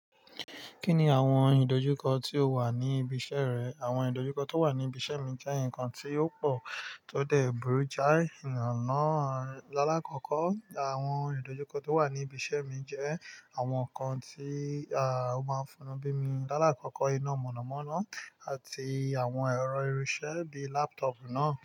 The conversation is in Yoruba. Kí ni àwọn ìdojúkọ tí ó wà ní ibi iṣẹ́ rẹ? Àwọn ìdojúkọ tó wà ní ibi iṣẹ́ mi jẹ́ nǹkan tí ó pò tó dẹ̀ burú jáì, ìlànà rẹ. Lálákòókò, àwọn ìdojúkọ tó wà ní ibi iṣẹ́ mi jẹ́ àwọn nǹkan tí a máa ń fúnni bí mi. Lálákòókò iná mọ̀nàmọ́ná àti àwọn ẹ̀rọ irinṣẹ́ bíi laptop náà.